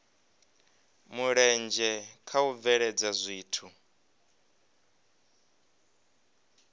mulenzhe kha u bveledza zwithu